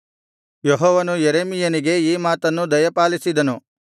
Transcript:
ಯೆಹೋವನು ಯೆರೆಮೀಯನಿಗೆ ಈ ಮಾತನ್ನು ದಯಪಾಲಿಸಿದನು